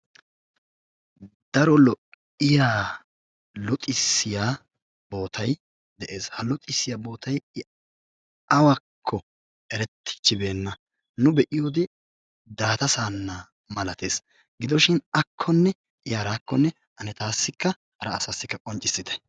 Daro lo''iyaa luxissiya boottay de'ees. Ha luxissiya boottay awakko erettichibeena. nu be''iyoode Daata Saana malattees, gidoshin akkonne I harakkonne ane taassikka hara asassikka qonccissite.